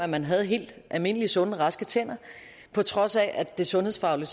man har helt almindelige sunde og raske tænder på trods af at det sundhedsfagligt